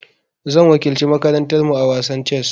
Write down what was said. Zan wakilci makarantar mu a wasan chess.